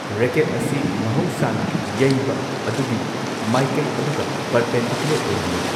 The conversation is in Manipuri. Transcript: ꯔꯦꯀꯦꯠ ꯑꯁꯤ ꯃꯍꯧꯁꯥꯅ ꯌꯩꯕ ꯑꯗꯨꯒꯤ ꯃꯥꯢꯀꯩ ꯑꯗꯨꯒ ꯄꯔꯄꯦꯟꯗꯤꯀꯨꯂꯔ ꯑꯣꯏꯅ ꯂꯩ꯫